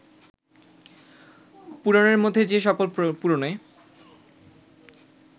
পুরাণের মধ্যে যে সকল পুরাণে